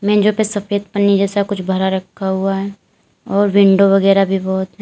मेजों पे सफेद पन्नी जैसा कुछ भरा रखा हुआ है और विंडो वगैरा भी बहुत हैं।